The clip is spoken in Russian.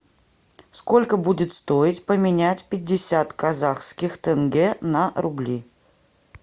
сколько будет стоить поменять пятьдесят казахских тенге на рубли